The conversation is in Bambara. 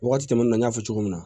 Wagati tɛmɛna n y'a fɔ cogo min na